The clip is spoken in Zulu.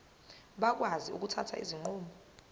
bakwazi ukuthatha izinqumo